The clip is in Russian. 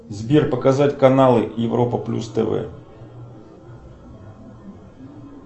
сбер показать каналы европа плюс тв